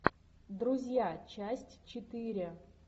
друзья часть четыре